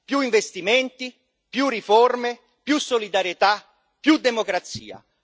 Più investimenti, più riforme, più solidarietà, più democrazia.